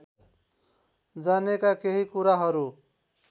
जानेका केही कुराहरू